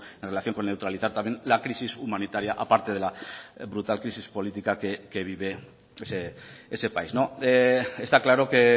en relación con neutralizar también la crisis humanitaria a parte de la brutal crisis política que vive ese país está claro que